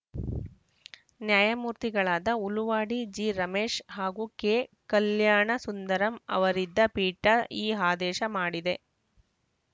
ನ್ಯಾಯಮೂರ್ತಿಗಳಾದ ಹುಲುವಾಡಿ ಜಿ ರಮೇಶ್‌ ಹಾಗೂ ಕೆ ಕಲ್ಯಾಣಸುಂದರಂ ಅವರಿದ್ದ ಪೀಠ ಈ ಆದೇಶ ಮಾಡಿದೆ